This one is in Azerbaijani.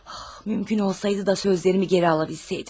Mümkün olsaydı da sözlərimi geri ala bilsəydim.